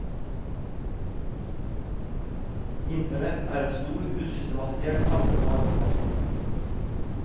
Internett et en stor usystematisert samling av informasjon.